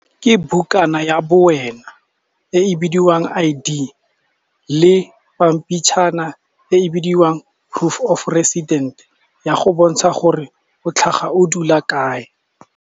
Ke bukana ya bo wena e bidiwang I_D le pampitshana e bidiwang proof of resident ya go bontsha gore o tlhaga o dula kae.